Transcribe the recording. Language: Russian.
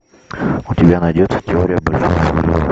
у тебя найдется теория большого взрыва